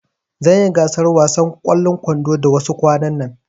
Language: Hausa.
Zanyi gasar wasan ƙwallon kwando da wasu kwanan nan